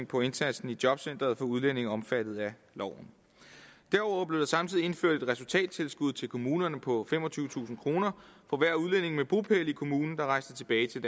på indsatsen i jobcenteret for udlændinge omfattet af loven derudover blev der samtidig indført et resultattilskud til kommunerne på femogtyvetusind kroner for hver udlænding med bopæl i kommunen der rejste tilbage til